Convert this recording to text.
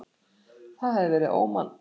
Það hefði verið ómannúðlegt.